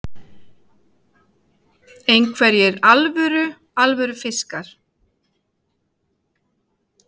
Hrund Þórsdóttir: Einhverjir alvöru, alvöru fiskar?